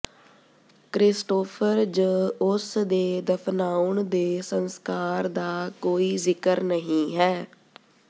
Christopher ਜ ਉਸ ਦੇ ਦਫ਼ਨਾਉਣ ਦੇ ਸੰਸਕਾਰ ਦਾ ਕੋਈ ਜ਼ਿਕਰ ਨਹੀ ਹੈ